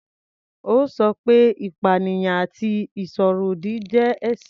Ó sọ pé ìpanìyàn àti ìsọ̀rọ̀ ọ̀dì jẹ́ ẹ̀ṣẹ̀.